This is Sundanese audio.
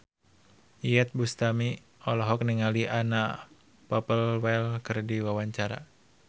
Iyeth Bustami olohok ningali Anna Popplewell keur diwawancara